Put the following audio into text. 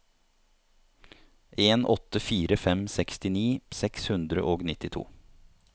en åtte fire fem sekstini seks hundre og nittito